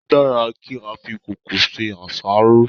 Ó dára kí á fi kòókòó ṣe àṣáró.